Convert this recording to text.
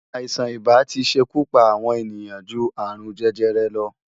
Aisán-ibá ti se ikú pá awòn éniyan jú árún-jèjèrè lò